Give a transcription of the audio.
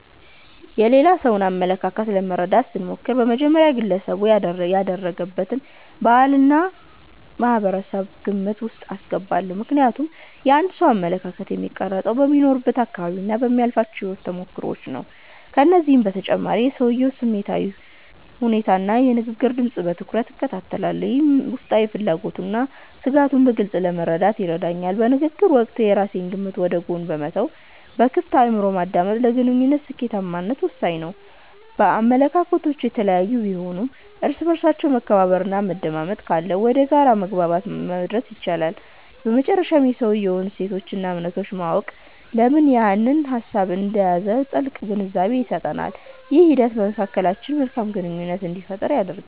የሌላ ሰውን አመለካከት ለመረዳት ስሞክር፣ በመጀመሪያ ግለሰቡ ያደገበትን ባህልና ማህበረሰብ ግምት ውስጥ አስገባለሁ። ምክንያቱም የአንድ ሰው አመለካከት የሚቀረፀው በሚኖርበት አካባቢና በሚያልፍባቸው የህይወት ተሞክሮዎች ነው። ከዚህም በተጨማሪ የሰውየውን ስሜታዊ ሁኔታና የንግግር ድምፅ በትኩረት እከታተላለሁ፤ ይህም ውስጣዊ ፍላጎቱንና ስጋቱን በግልፅ ለመረዳት ይረዳኛል። በንግግር ወቅት የራሴን ግምት ወደ ጎን በመተው በክፍት አእምሮ ማዳመጥ፣ ለግንኙነቱ ስኬታማነት ወሳኝ ነው። አመለካከቶች የተለያዩ ቢሆኑም፣ እርስ በእርስ መከባበርና መደማመጥ ካለ ወደ የጋራ መግባባት መድረስ ይቻላል። በመጨረሻም የሰውየውን እሴቶችና እምነቶች ማወቅ፣ ለምን ያንን ሀሳብ እንደያዘ ጥልቅ ግንዛቤን ይሰጠኛል። ይህ ሂደት በመካከላችን መልካም ግንኙነት እንዲፈጠር ያደርጋል።